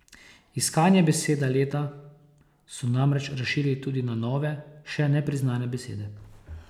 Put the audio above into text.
Iskanje besede leta so namreč razširili tudi na nove, še nepriznane besede.